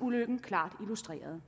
ulykken klart illustrerede